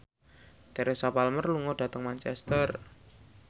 Teresa Palmer lunga dhateng Manchester